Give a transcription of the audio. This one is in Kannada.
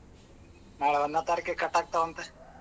ನಾಳ ಒಂದನೇ ತಾರೀಕಿಗೆ ಕಟ್ಟಾಗತವಂತೆ.